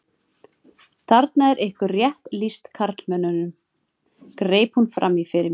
Þarna er ykkur rétt lýst karlmönnunum, greip hún fram í fyrir mér.